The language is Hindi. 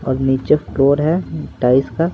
और नीचे फ्लोर है टाइज का।